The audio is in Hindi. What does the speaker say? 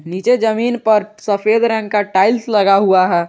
नीचे जमीन पर सफेद रंग का टाइल्स लगा हुआ है।